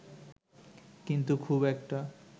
কিন্তু খুব একটা